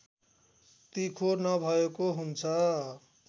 तिखो नभएको हुन्छ